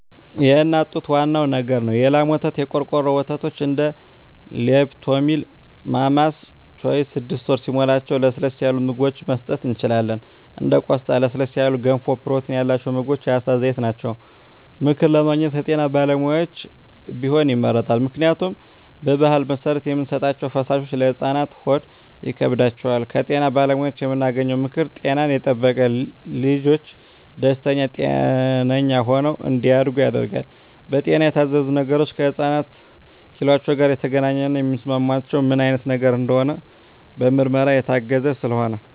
የእናት ጡት ዋናው ነገር ነው የላም ወተት , የቆርቆሮ ወተቶች እንደ ሊፕቶሚል ማማስ ቾይዥ ስድስት ወር ሲሞላቸው ለስለስ ያሉ ምግብችን መስጠት እንችላለን እንደ ቆስጣ ለስለስ ያሉ ገንፎ ፕሮቲን ያላቸው ምግቦች የአሳ ዘይት ናቸው። ምክር ለማግኘት ከጤና ባለሙያዎች ቢሆን ይመረጣል ምክንያቱም በባህል መሰረት የምንሰጣቸዉ ፈሳሾች ለህፃናት ሆድ ይከብዳቸዋል። ከጤና ባለሙያዎች የምናገኘው ምክር ጤናን የጠበቀ ልጅች ደስተኛ ጤነኛ ሆነው እንዳድጉ ያደርጋል። በጤና የታዘዙ ነገሮች ከህፃናት ኪሏቸው ጋር የተገናኘ የሚስማማቸው ምን አይነት ነገር እንደሆነ በምርመራ የታገዘ ስለሆነ